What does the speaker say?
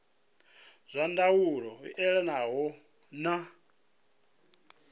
zwa ndaulo i elanaho na